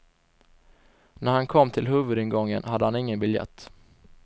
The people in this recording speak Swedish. När han kom till huvudingången hade han ingen biljett.